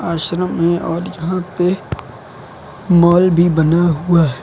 आश्रम है और यहां पे मॉल भी बना हुआ है।